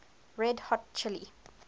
red hot chili